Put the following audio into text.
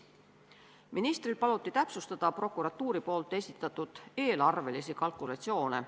Ministril paluti täpsustada prokuratuuri esitatud eelarvelisi kalkulatsioone.